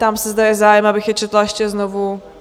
Ptám se, zda je zájem, abych je četla ještě znovu?